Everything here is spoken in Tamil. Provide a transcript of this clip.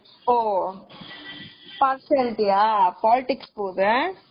ஓ partiality யா politics போகுது